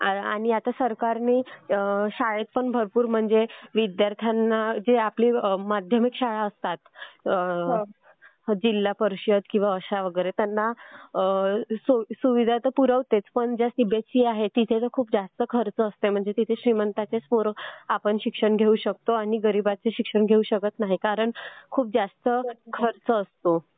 आणि आता सरकारने पण भरपूर विद्यार्थ्यांना म्हणजे आता आपल्या ज्या माध्यमिक शाळा असतात म्हणजे जिल्हा परिषद किंवा अश्या वगैरे तर त्यांना सुविधा पण पुरवतेच पण ज्या आहेत तिथं खूप जास्त खर्च असतो म्हणजे श्रीमंतांचीच पोरं आपण शिक्षण घेऊ शकतात. आणि गरीब शिक्षण घेऊ शकत नाहीत. कारण खूप जास्त खर्च असतो.